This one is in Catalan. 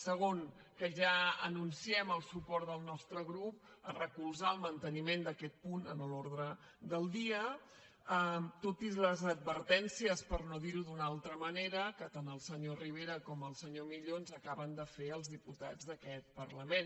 segon que ja anunciem el suport del nostre grup a recolzar el manteniment d’aquest punt en l’ordre del dia tot i les advertències per no dirho d’una altra manera que tant el senyor rivera com el senyor millo ens acaben de fer als diputats d’aquest parlament